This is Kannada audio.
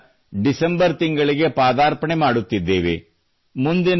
ನಾವು ಈಗ ಡಿಸೆಂಬರ್ ತಿಂಗಳಿಗೆ ಪದಾರ್ಪಣೆ ಮಾಡುತ್ತಿದ್ದೇವೆ